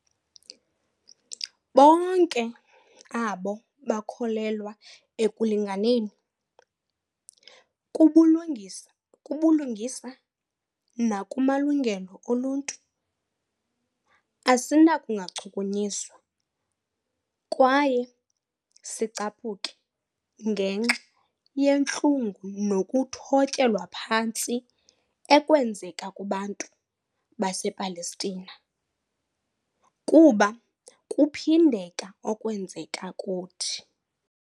Bonke abo bakholelwa ekulinganeni, kubulungisa nakumalungelo oluntu, asinakungachukunyiswa kwaye sicaphuke ngenxa yentlungu nokuthotyelwa phantsi ekwenzeka kubantu basePalestina, kuba kuphindeka okwenzeka kuthi.